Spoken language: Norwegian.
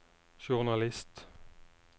journalist